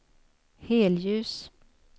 helljus